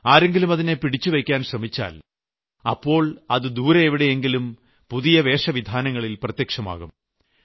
ആരെങ്കിലും അതിനെ പിടിച്ചുവെയ്ക്കാൻ ശ്രമിച്ചാൽ അപ്പോൾ അത് ദൂരെ എവിടെയെങ്കിലും പുതിയ വേഷവിധാനങ്ങളിൽ പ്രത്യക്ഷമാകും